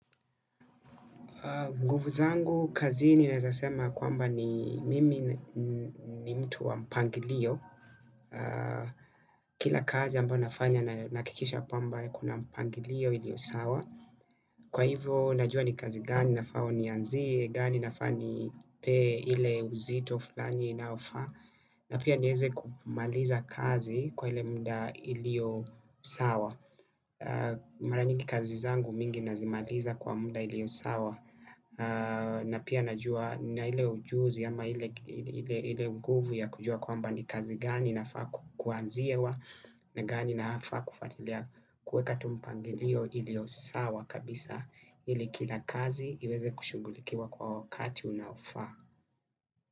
Nguvu zangu kazini naeza sema kwamba ni mimi ni mtu wa mpangilio. Kila kazi ambayo nafanya nahakikisha kwamba kuna mpangilio ilio sawa. Kwa hivyo najua ni kazi gani nafaa nianziye, gani nafaa nipee ile uzito fulani unaofa. Na pia nieze kumaliza kazi kwa ile muda ilio sawa. Mara nyingi kazi zangu mingi nazimaliza kwa muda iliyo sawa. Na pia najua na ile ujuzi ama ile nguvu ya kujua kwamba ni kazi gani nafaa kuanziwa. Ni gani nafaa kufuatilia kuweka tu mpangilio iliyo sawa kabisa ili kila kazi iweze kushughulikiwa kwa wakati unaofaa.